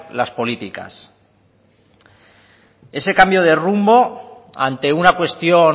las políticas ese cambio de rumbo ante una cuestión